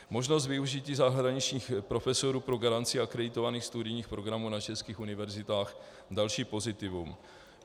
Možnost využití zahraničních profesorů pro garanci akreditovaných studijních programů na českých univerzitách - další pozitivum.